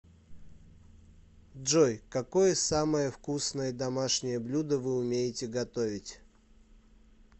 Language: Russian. джой какое самое вкусное домашнее блюдо вы умеете готовить